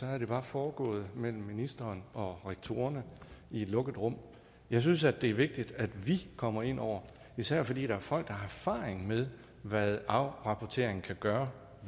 havde det bare foregået mellem ministeren og rektorerne i et lukket rum jeg synes at det er vigtigt at vi kommer ind over især fordi der er folk der har erfaring med hvad afrapportering kan gøre